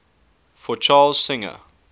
for charles singer